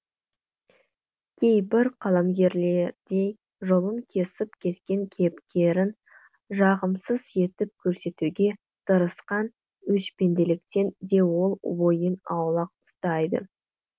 кейбір қаламгерлердей жолын кесіп кеткен кейіпкерін жағымсыз етіп көрсетуге тырысқан өшпенділіктен де ол бойын аулақ ұстайды